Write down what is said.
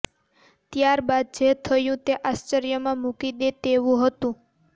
ત્યાર બાદ જે થયું તે આશ્ચર્યમાં મૂકી દે તેવું હતું